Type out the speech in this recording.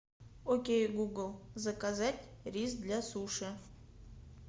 окей гугл заказать рис для суши